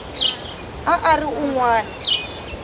a a ri un wana